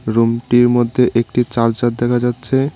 রুমটির মধ্যে একটি চার্জার দেখা যাচ্ছে।